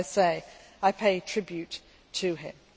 As I say, I pay tribute to him.